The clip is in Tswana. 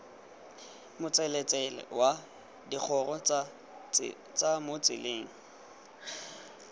motseletsele wa digoro mo tseleng